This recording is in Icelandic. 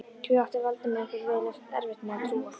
Því átti Valdimar einhvern veginn erfitt með að trúa.